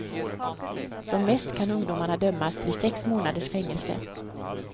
Som mest kan ungdomarna dömas till sex månaders fängelse.